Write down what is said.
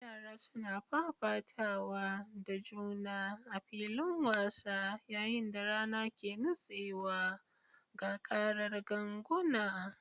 Yara suna fafatawa da juna a filin wasa yayin da rana ke nutsewa, ga karar ganguna.